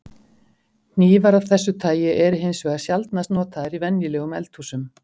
Hnífar af þessu tagi eru hins vegar sjaldnast notaðar í venjulegum eldhúsum.